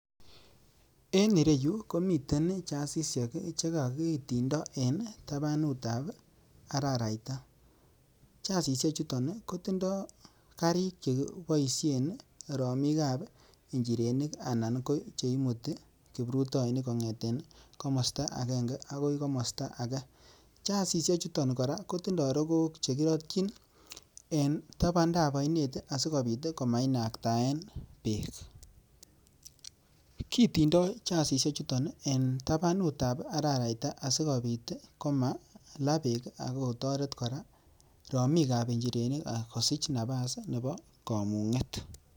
En ireyu komiten jazishek che kogitindo en tabanutab araraita. Jazishekchuto kotindo karik che kiboishen romik ab njirenik anan ko che imuti kiprutoinik kong'eten komosta agenge agoi komosta age. Jazishekchuto kora kotindo rogook che kirotyin en tabandab oinet asikobit komainaktaen beek. Kitindo jazishek chuton en tabandab araraita asikobit komala beek ak kotoret kora romikab njirenik kosich nafas nebo koung'et.